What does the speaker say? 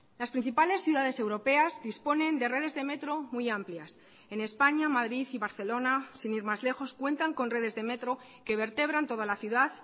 las principales ciudades europeas disponen de redes de metro muy amplias en españa madrid y barcelona sin ir más lejos cuentan con redes de metro que vertebran toda la ciudad